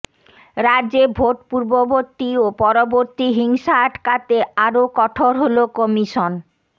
রাজ্যে ভোট পূর্ববর্তী ও পরবর্তী হিংসা আটকাতে আরও কঠোর হল কমিশন